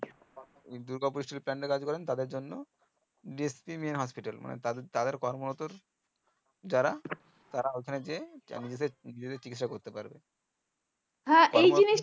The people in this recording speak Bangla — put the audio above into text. দুর্গাপুরের plant এ কাজ করেন তাদের জন্য